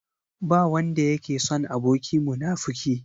Ba wanda yake son aboki munafuki.